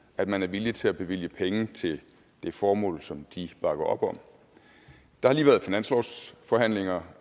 at man er villig til at bevilge penge til det formål som de bakker op om der har lige været finanslovsforhandlinger